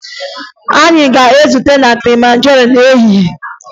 Anyị ga-ezute na Kilimanjaro n'ehihie